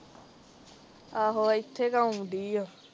ਆਹੋ ਇਥੇ ਕ ਆਉਣ ਡਈ ਆ